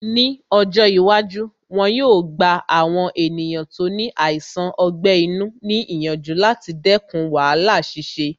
Ní ọjọ́ iwájú, wọn yóò gba àwọn ènìyàn tí ó ní àìsàn ọgbẹ́ inú ní ìyànjú láti dẹkùn wàhálà ṣíṣe